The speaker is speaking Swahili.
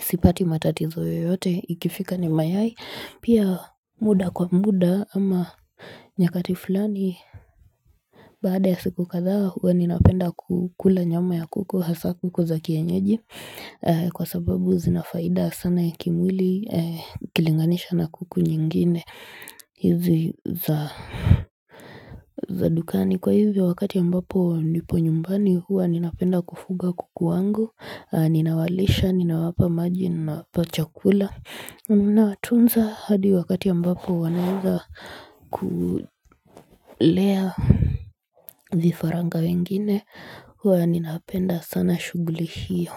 sipati matatizo yoyote ikifika ni mayai pia muda kwa muda ama nyakati fulani Baada ya siku kadhaa huwa ninapenda kukula nyama ya kuku hasa kuku za kienyeji Kwa sababu zina faida sana ya kimwili ikilinganishwa na kuku nyingine hizi za za dukani kwa hivyo wakati ambapo nipo nyumbani huwa ninapenda kufuga kuku wangu Ninawalisha, ninawapa maji nawapa chakula Unawatunza hadi wakati ambapo wanaeza kulea vifaranga wengine huwa ninapenda sana shughuli hiyo.